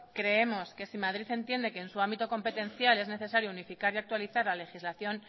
creemos que si madrid entiende que en su ámbito competencial es necesario unificar y actualizar la legislación